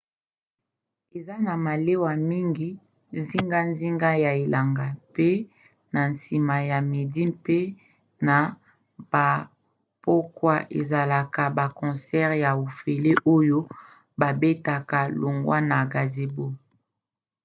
eza na malewa mingi zingazinga ya elanga mpe na nsima ya midi mpe na bapokwa ezalaka na baconcert ya ofele oyo babetaka longwa na gazebo